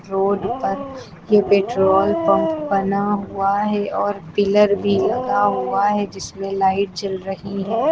Road पर ये petrol pump बना हुआ है और पिलर भी लगा हुआ है जिसमें लाईट जल रही हैं।